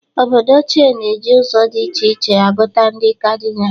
Obodo ochie na-eji ụzọ dị iche iche agụta ndị Kadịnal.